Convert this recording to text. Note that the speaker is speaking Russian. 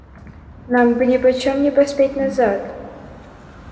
нам бы ни по чём не поспеть назад